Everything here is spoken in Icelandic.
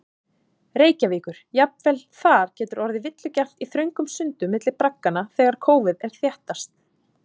Reykjavíkur, jafnvel þar getur orðið villugjarnt í þröngum sundum milli bragganna þegar kófið er þéttast.